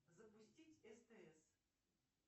запустить стс